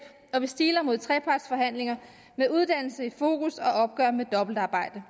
og vi stiler mod trepartsforhandlinger med uddannelse i fokus og opgør med dobbeltarbejde